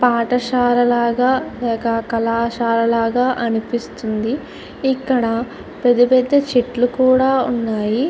పాఠశాల లాగా లేకపోతే కళాశాల లాగా అనిపిస్తుంది ఇక్కడ పెద్ద పెద్ద చెట్లు కూడా ఉన్నాయి .